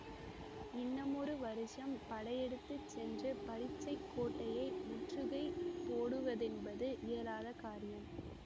இன்னமொரு வருஷம் படையெடுத்து சென்று பரீட்சைக் கோட்டையை முற்றுகை போடுவதென்பது இயலாத காரியம்